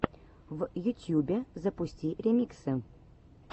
в ютьюбе запусти ремиксы